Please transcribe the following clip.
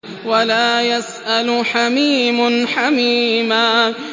وَلَا يَسْأَلُ حَمِيمٌ حَمِيمًا